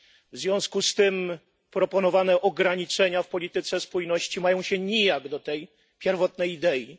W związku z tym proponowane ograniczenia w polityce spójności mają się nijak do tej pierwotnej idei.